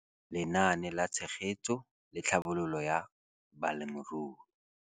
Lenaane la Tshegetso le Tlhabololo ya Balemirui